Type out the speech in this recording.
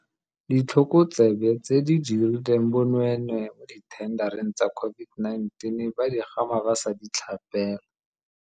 Ditlhokotsebe tse di dirileng bonweenwee mo dithendareng tsa COVID-19 ba digama ba sa di tlhapela.